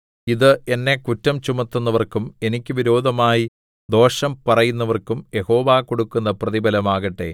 ഇത് എന്നെ കുറ്റം ചുമത്തുന്നവർക്കും എനിക്ക് വിരോധമായി ദോഷം പറയുന്നവർക്കും യഹോവ കൊടുക്കുന്ന പ്രതിഫലം ആകട്ടെ